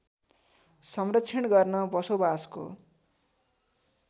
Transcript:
संरक्षण गर्न बसोबासको